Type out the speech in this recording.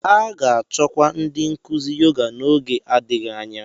A ga-achọkwu ndị nkuzi Yoga n'oge adịghị anya